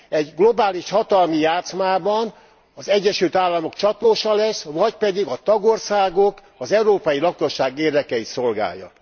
Egy globális hatalmi játszmában az Egyesült Államok csatlósa lesz, vagy pedig a tagországok, az európai lakosság érdekeit szolgálja?